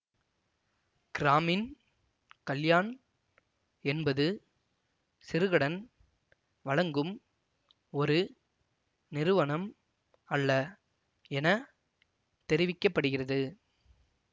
கிராமின் கல்யாண் என்பது சிறுகடன் வழங்கும் ஒரு நிறுவனம் அல்ல என தெரிவிக்க படுகிறது